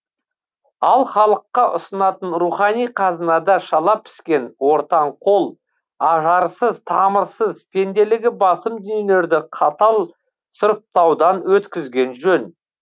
ал халыққа ұсынатын рухани қазынада шала піскен ортаң қол ажарсыз тамырсыз пенделігі басым дүниелерді қатал сұрыптаудан өткізген жөн